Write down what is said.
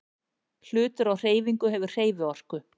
Hlutur á hreyfingu hefur hreyfiorku.